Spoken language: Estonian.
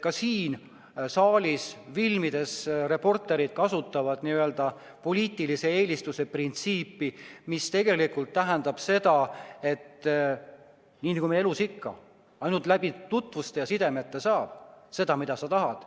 Ka siin saalis filmides kasutavad reporterid n-ö poliitilise eelistuse printsiipi, mis tegelikult tähendab seda, et nii nagu elus ikka, ainult läbi tutvuste ja sidemete saad seda, mida sa tahad.